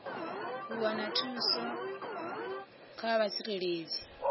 u wana thuso kha mutsireledzi